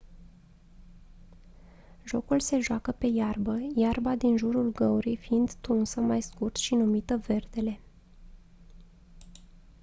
jocul se joacă pe iarbă iarba din jurul găurii fiind tunsă mai scurt și numită verdele